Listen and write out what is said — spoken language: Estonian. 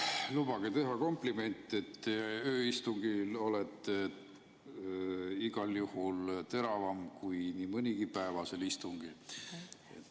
Lubage teha kompliment, et ööistungil olete igal juhul teravam kui nii mõnigi päevasel istungil.